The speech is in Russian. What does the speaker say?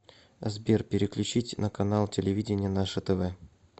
сбер переключить на канал телевидения наше тв